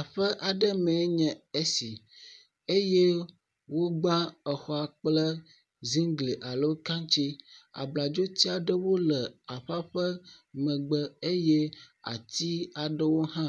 Aƒe aɖe mee nye esi eye wogba exɔa kple ziŋglia lo kaŋtsi, abladzoti aɖewo le aƒea ƒe megbe eye ati aɖewo hã